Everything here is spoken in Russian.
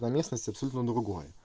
на местности абсолютно другое